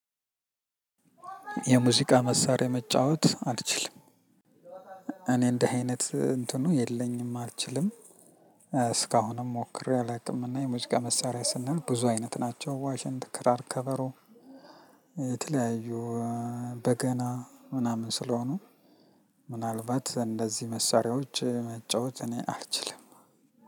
የሙዚቃ መሳሪያ መጫወት አልችልም። እኔ እንዲህ አይነት እንትኑ የለኝም አልችልም። እስካሁንም ሞክሬ አላቅም እኔ የሙዚቃ መሳሪያ ስንል ብዙ አይነት ናቸው ዋሽንት ክራር ከበሮ። የተለያዩ በገና ምናምን ስለሆኑ ምናልባት እንደዚህ መሳሪያዎች መጫወት እኔ አልችልም።